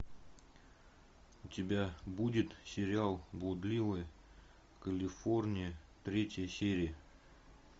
у тебя будет сериал блудливая калифорния третья серия